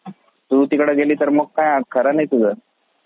तू तिकडे गेली तर काही खरा नाही तुझा.